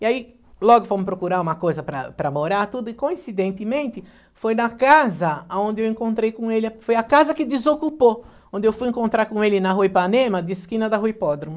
E aí logo fomos procurar uma coisa para para morar, tudo, e coincidentemente foi na casa onde eu encontrei com ele, foi a casa que desocupou, onde eu fui encontrar com ele na Rua Ipanema, de esquina da Rua Hipódromo.